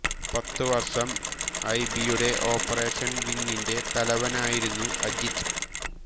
പത്തുവർഷം I B യുടെ operation വിംഗിന്റെ തലവനുമായിരുന്നു അജിത്